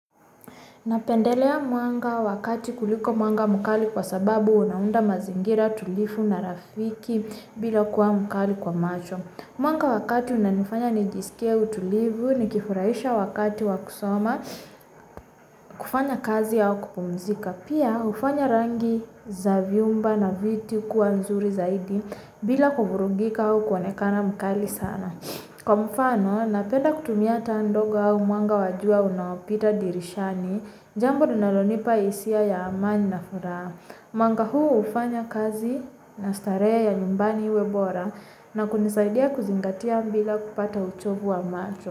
Napendelea mwanga wakati kuliko mwanga mkali kwa sababu unaunda mazingira tulifu na rafiki bila kuwa mkali kwa macho. Mwanga wakati una nifanya nijisikie utulivu, nikifurahisha wakati wa kusoma, kufanya kazi au kupumzika. Pia hufanya rangi za vyumba na viti kuwa nzuri zaidi, bila kuvurugika au kuonekana mkali sana. Kwamfano, napenda kutumia taa ndogo au mwanga wajua unaopita dirishani, jambo linalonipa hisia ya amani na furaha. Mwanga huu hufanya kazi na starehe ya nyumbani iwebora na kunisaidia kuzingatia mbila kupata uchovu wa macho.